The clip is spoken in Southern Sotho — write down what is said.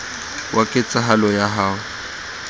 wa ket sahalo ya ho